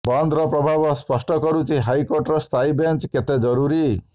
ବନ୍ଦର ପ୍ରଭାବ ସ୍ପଷ୍ଟ କରୁଛି ହାଇକୋର୍ଟର ସ୍ଥାୟୀ ବେଞ୍ଚ କେତେ ଜରୁରୀ